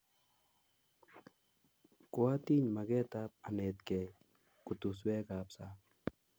Kwatiny maget ap anetkei kutuswek ap sang'.